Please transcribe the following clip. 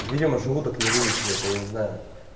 видимо желудок не вывез блять я не знаю